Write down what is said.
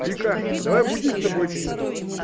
лика давай будем с тобой этих нафиг